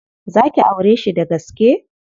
Za ki aureshi dagaske?